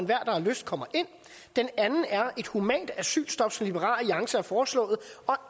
der har lyst kommer ind den anden er et humant asylstop som liberal alliance har foreslået og